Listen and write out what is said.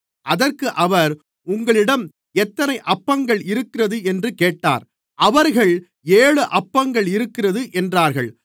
அதற்கு அவர் உங்களிடம் எத்தனை அப்பங்கள் இருக்கிறது என்று கேட்டார் அவர்கள் ஏழு அப்பங்கள் இருக்கிறது என்றார்கள்